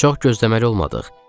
Çox gözləməli olmadıq.